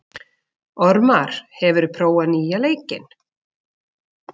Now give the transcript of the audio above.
Ormar, hefur þú prófað nýja leikinn?